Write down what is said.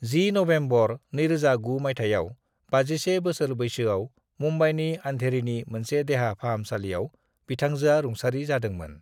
10 November 2009 माइथायाव 51 बोसोर बैसोआव मुंबईनि अंधेरीनि मोनसे देहा फाहामसालियाव बिथांजोआ रुंसारि जादोंमोन।